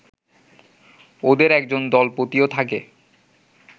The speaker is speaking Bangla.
ওদের একজন দলপতিও থাকে